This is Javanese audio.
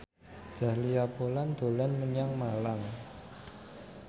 Dahlia Poland dolan menyang Malang